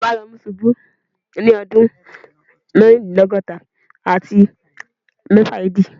Ijọba Romu ṣubu ni ọdun mẹrindilọgọta ati mẹfa AD